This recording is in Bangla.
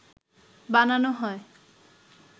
বানানো হয়